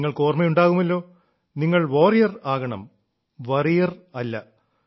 നിങ്ങൾക്ക് ഓർമ്മയുണ്ടാകുമല്ലോ നിങ്ങൾ വാരിയർ Warriorആകണം വോറിയർ വറീയർ അല്ല